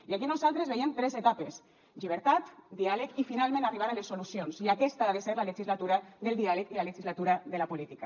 i aquí nosaltres veiem tres etapes llibertat diàleg i finalment arribar a les solucions i aquesta ha de ser la legislatura del diàleg i la legislatura de la política